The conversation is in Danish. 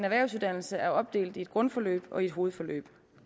erhvervsuddannelse er opdelt i et grundforløb og et hovedforløb